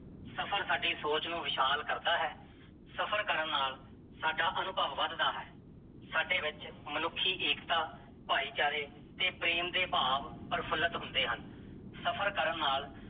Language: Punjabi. ਸਫ਼ਰ ਸਾਡੀ ਸੋਚ ਨੂੰ ਵਿਸ਼ਾਲ ਕਰਦਾ ਹੈ, ਸਫ਼ਰ ਕਰਨ ਨਾਲ ਸਾਡਾ ਅਨੁਭਵ ਵਧਦਾ ਹੈ, ਸਾਡੇ ਵਿੱਚ ਮਨੁੱਖੀ ਏਕਤਾ, ਭਾਈਚਾਰੇ ਤੇ ਪ੍ਰੇਮ ਦੇ ਭਾਵ ਪ੍ਰਫੁੱਲਤ ਹੁੰਦੇ ਹਨ, ਸਫ਼ਰ ਕਰਨ ਨਾਲ